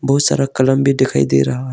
बहुत सारा कलम भी दिखाई दे रहा है।